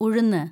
ഉഴുന്ന്